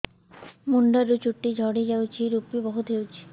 ମୁଣ୍ଡରୁ ଚୁଟି ଝଡି ଯାଉଛି ଋପି ବହୁତ ହେଉଛି